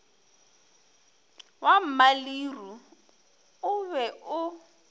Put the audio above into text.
wa mmaleruo o be o